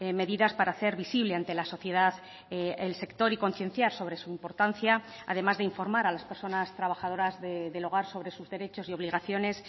medidas para hacer visible ante la sociedad el sector y concienciar sobre su importancia además de informar a las personas trabajadoras del hogar sobre sus derechos y obligaciones